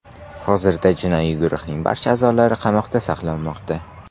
Hozirda jinoiy guruhning barcha a’zolari qamoqda saqlanmoqda.